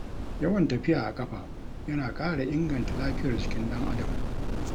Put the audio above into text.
Yawan tafiya a ƙafa yana ƙara inganta lafiyar jikin ɗan Adam.